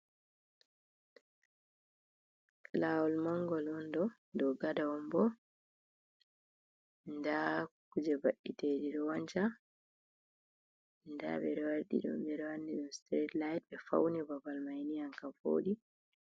Lawol mangol on ɗo, dou gada on bo, nda kuje baite ɗi ɗo wanca, nda ɓeɗo wanin ɗum strite ligt ɓe fauni babal mai ni anka voɗi.